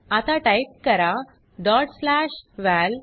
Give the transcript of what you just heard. आता टाइप करा dot slash वळ